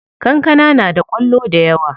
Kankana na da kwallo dayawa.